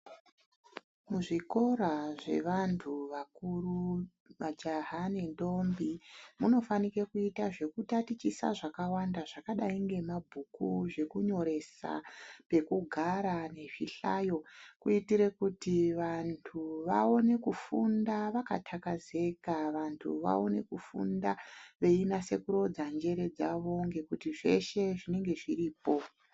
Muzvikora zvevantu vakuru majaha nendombi munofanike kuita zvekutatichisa zvakawanda zvakadai ngemabhuku, zvekunyoresa , pekugara nezvihlayo kuitire kuti vantu vapone kufunda vakatakazeka vantu vaone kufunda veinase kurodza njere dzavo ngekuti zveshe zvinenge zviripo.